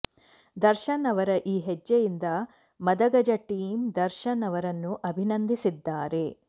ದರ್ಶನ್ ಅವರ ಈ ಹೆಜ್ಜೆಯಿಂದ ಮದಗಜ ಟೀಂ ದರ್ಶನ್ ಅವರನ್ನು ಅಭಿನಂದಿಸಿದ್ದಾರೆ